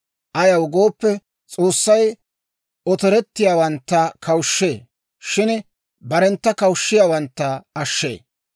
Ayaw gooppe, S'oossay otorettiyaawantta kawushshee; shin barentta hokisiyaawantta ashshee.